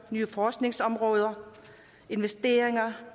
nye forskningsområder investeringer